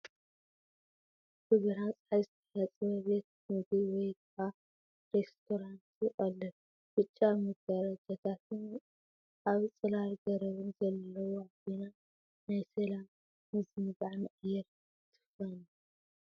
ብብርሃን ጸሓይ ዝተሓጽበ ቤት ምግቢ ወይ ከዓ ሬስቶራንት ይቕልቀል። ብጫ መጋረጃታትን ኣብ ጽላል ገረብን ዘለዋ ኮይና፡ ናይ ሰላምን ምዝንጋዕን ኣየር ትፍንው።